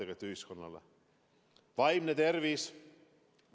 Näiteks vaimne tervis.